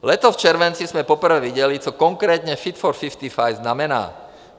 Letos v červenci jsme poprvé viděli, co konkrétně Fit for 55 znamená.